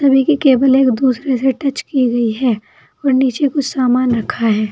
उन्हीं की केबले एक दूसरे से टच की हुई है और नीचे कुछ समान रखा है।